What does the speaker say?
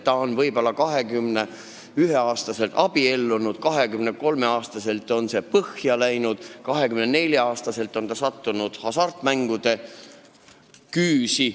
Ta on 21-aastaselt abiellunud, 23-aastaselt on tal abielu põhja läinud ja 24-aastaselt on ta hasartmängude küüsi sattunud.